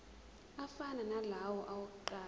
afana nalawo awokuqala